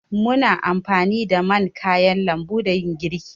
Muna anfani da man kayan lambu dan yin girki.